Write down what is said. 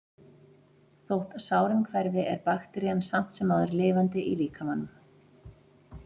Þótt sárin hverfi er bakterían samt sem áður lifandi í líkamanum.